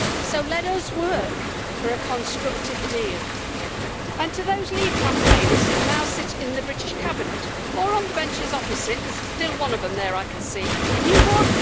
So let us work for a constructive deal. And to those leave campaigners who now sit in the British cabinet or on the benches opposite there is still one of them there, I can see you won.